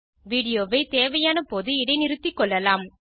video வை தேவையான போது இடைநிறுத்திக்கொள்ளலாம்